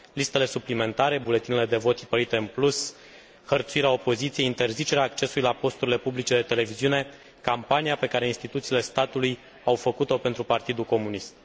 Listele suplimentare, buletinele de vot tipărite în plus, hărțuirea opoziției, interzicerea accesului la posturile publice de televiziune, campania pe care instituțiile statului au făcut o pentru Partidul Comunist.